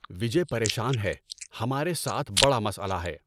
وجے پریشان ہے، ہمارے ساتھ بڑا مسئلہ ہے۔